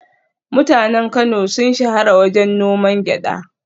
Mutanen Kano sun shahara wajen noman gyada